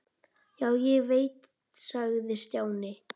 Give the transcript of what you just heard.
Já, ég veit sagði Stjáni.